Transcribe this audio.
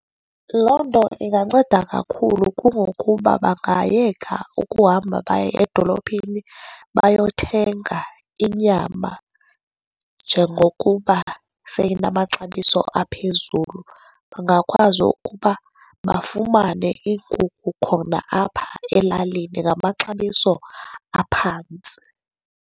Loo nto inganceda kakhulu, kungokuba bangayeka ukuhamba baye edolophini bayothenga inyama njengokuba seyinamaxabiso aphezulu. Bangakwazi ukuba bafumane iinkukhu khona apho elalini ngamaxabiso aphantsi.